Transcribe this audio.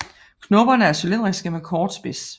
Knopperne er cylindriske med kort spids